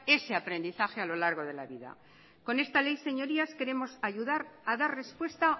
ese aprendizaje a lo largo de la vida con esta ley señorías queremos ayudar a dar respuesta